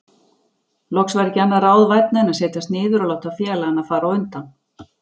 Loks var ekki annað ráð vænna en setjast niður og láta félagana fara á undan.